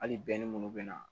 Hali minnu bɛna